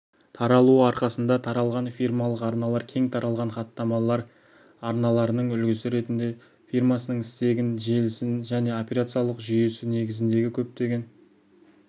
таралуы арқасында таралған фирмалық арналар кең тараған хаттамалар арналарының үлгісі ретінде фирмасының стегін желісін және операциялық жүйесі негізіндегі көптеген